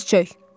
Diz çök.